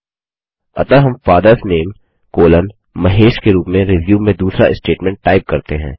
अतः हम father's name colon Mahesh के रूप में रिज्यूम में दूसरा स्टेटमेंट टाइप करते हैं